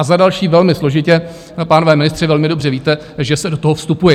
A za další, velmi složitě, pánové ministři, velmi dobře víte, že se do toho vstupuje.